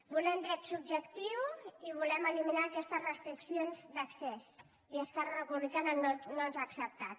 volem dret subjectiu i volem eliminar aquestes restriccions d’accés i esquerra republicana no ens ha acceptat